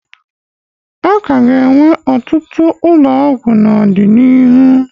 A ka ga-enwe ọtụtụ ụlọ ọgwụ n'ọdịnihu.